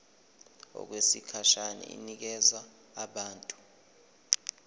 okwesikhashana inikezwa abantu